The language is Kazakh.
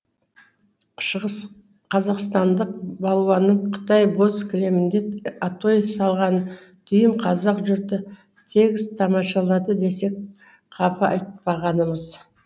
шығыс қазақстандық балуанның қытай боз кілемінде атой салған дүйім қазақ жұрты тегіс тамашалады десек қапа айтпағанымыз